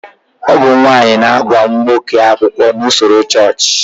Ọ bụ nwaanyị na-agba nwoke akwụkwọ n'usoro chọọchị